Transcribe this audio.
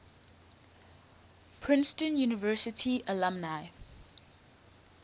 princeton university alumni